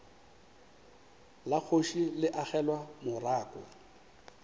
la kgoši le agelwa morako